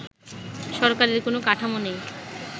সরকারের কোন কাঠামো নেই